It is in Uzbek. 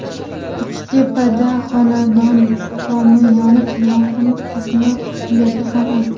Uchtepada xonadon tomi yonib, yong‘in qo‘shni uylarga ham o‘tdi .